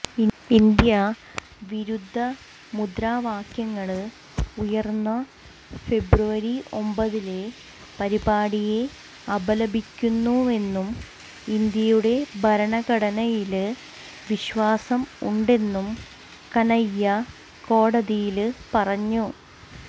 India വിരുദ്ധ മുദ്രാവാക്യങ്ങള് ഉയര്ന്ന ഫെബ്രുവരി ഒമ്പതിലെ പരിപാടിയെ അപലപിക്കുന്നുവെന്നും ഇന്ത്യയുടെ ഭരണഘടനയില് വിശ്വാസം ഉണ്ടെന്നും കനയ്യ കോടതിയില് പറഞ്ഞു